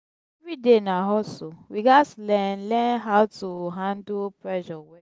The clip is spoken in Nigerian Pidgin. every day na hustle we gats learn learn how to handle pressure well.